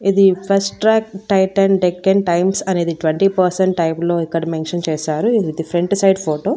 ఇది Fastrack Titan Deccan Times అనేది twenty percent type లో ఇక్కడ మెన్షన్ చేశారు ఇది ఫ్రంట్ సైడు ఫోటో .